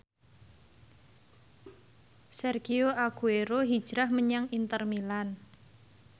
Sergio Aguero hijrah menyang Inter Milan